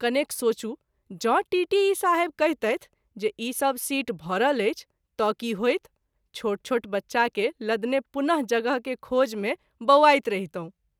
कनेक सोचू जँ टीटीई साहेब कहितैथ जे ई सभ सीट भरल अछि त’ की होइत ? छोट छोट बच्चा के लदने पुन: जगह के खोज मे बौआइत रहितहुँ।